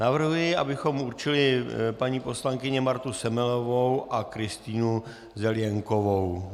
Navrhuji, abychom určili paní poslankyni Martu Semelovou a Kristýnu Zelienkovou.